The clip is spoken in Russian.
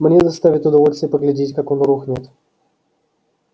мне доставит удовольствие поглядеть как он рухнет